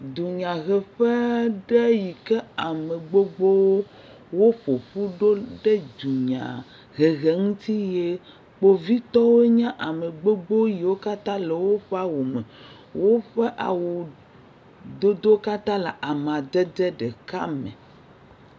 Dunyaheƒe aɖe yi ke ame gbogbo woƒu ƒu ɖo ne dunyahehe ŋuti ye kpovitɔwo nye ame gbogbo yiwo katã le woƒe awu me. Woƒe awudodowo katã le amadede ɖeka me.